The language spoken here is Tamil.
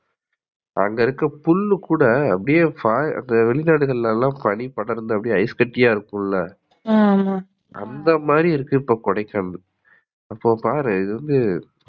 அங்க இருக்குற புல்கூட அப்டியே வெளிநாடுகள்லாம் பனிபடர்ந்து ஐஸ்கட்டியா இருக்கும்ல, அந்தமாதிரி இருக்கு கொடைக்கானல் அப்ப பாரு இதுவந்து